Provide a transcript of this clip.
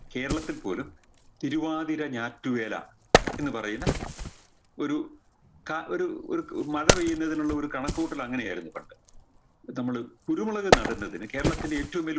കേരളത്തിൽ പോലും തിരുവാതിര ഞാറ്റുവേല എന്ന് പറയുന്ന ഒരു ക ഒരു ഒരു മഴ പെയ്യുന്നതിനുള്ള ഒരു കണക്കുകൂട്ടൽ അങ്ങനെയായിരുന്നു പണ്ട് നമ്മള് കുരുമുളക് നടുന്നതിന് കേരളത്തിൻറെ ഏറ്റവും വലിയ